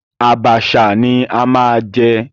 Àbàṣà ni a máa jẹ.